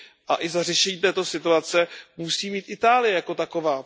a i za řešení této situace musí mít Itálie jako taková.